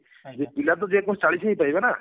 ପିଲାତ ଯେ କୌଣସି ଚାଳିଶି ହିଁ ପାଇବେ ନା